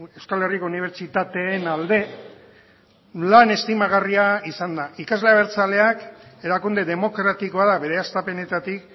euskal herriko unibertsitateen alde lan estimagarria izan da ikasle abertzaleak erakunde demokratikoa da bere hastapenetatik